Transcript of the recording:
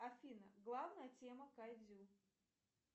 афина главная тема кайдзю